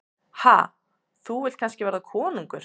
Ha, þú vilt kannski verða konungur?